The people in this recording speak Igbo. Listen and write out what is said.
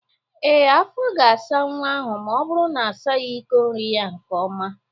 Ee, afọ ga-asa nwa ahụ ma ọ bụru na-asaghi iko nri ya nke ọma